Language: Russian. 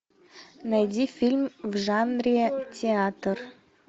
найди фильм в жанре театр